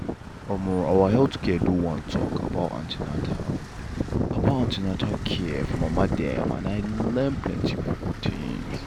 em our health center do one talk about an ten atal about an ten atal care for mama dem and i learn plenty um things.